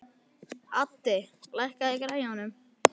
Addi, lækkaðu í græjunum.